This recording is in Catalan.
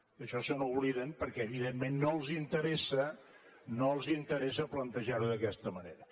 d’això se n’obliden perquè evidentment no els interessa no els interessa plantejar ho d’aquesta manera